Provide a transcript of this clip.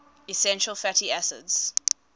essential fatty acids